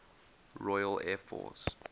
royal air force